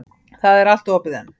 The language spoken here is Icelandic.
Það er allt opið enn.